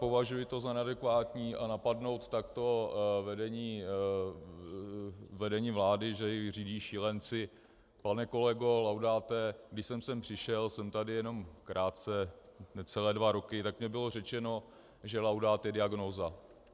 Považuji to za neadekvátní a napadnout takto vedení vlády, že ji řídí šílenci - pane kolego Laudáte, když jsem sem přišel, jsem tady jenom krátce, necelé dva roky, tak mně bylo řečeno, že Laudát je diagnóza.